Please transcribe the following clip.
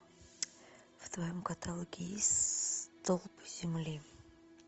в твоем каталоге есть столб земли